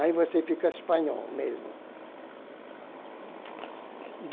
Aí você fica espanhol mesmo.